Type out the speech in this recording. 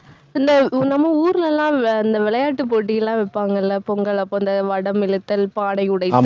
இல்ல, நம்ம ஊர்ல எல்லாம் வி~ இந்த விளையாட்டுப் போட்டியெல்லாம் வைப்பாங்கல்ல பொங்கல் அப்ப அந்த வடம் இழுத்தல், பானை உடைத்தல்